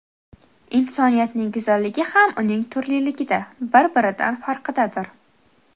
Insoniyatning go‘zalligi ham uning turliligida, bir-biridan farqidadir.